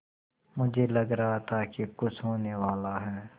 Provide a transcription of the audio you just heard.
मुझे लग रहा था कि कुछ होनेवाला है